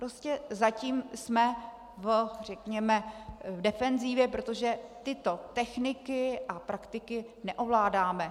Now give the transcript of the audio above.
Prostě zatím jsme, řekněme, v defenzivě, protože tyto techniky a praktiky neovládáme.